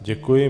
Děkuji.